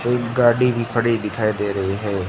और एक गाड़ी भी खड़ी दिखाई दे रही है।